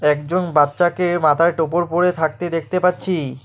একজন বাচ্চাকে মাথায় টোপর পড়ে থাকতে দেখতে পাচ্ছি।